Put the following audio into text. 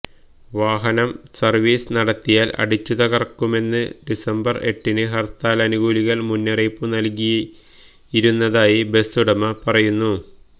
വാഹനം സര്വിസ് നടത്തിയാല് അടിച്ചുതകര്ക്കുമെന്ന് ഡിസംബര് എട്ടിന് ഹര്ത്താലനുകൂലികള് മുന്നറിയിപ്പ് നല്കിയിരുന്നതായി ബസുടമ പറയുന്നു